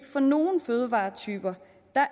for nogle fødevaretyper